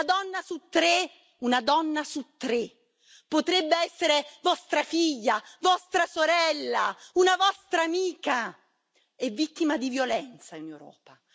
Una donna su tre, una donna su tre, che potrebbe essere vostra figlia, vostra sorella, una vostra amica, è vittima di violenza in Europa.